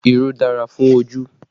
Irú dára fún ojú